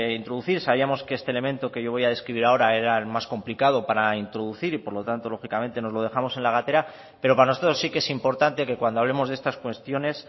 introducir sabíamos que este elemento que yo voy a describir ahora era el más complicado para introducir y por lo tanto lógicamente nos lo dejamos en la gatera pero para nosotros sí que es importante que cuando hablemos de estas cuestiones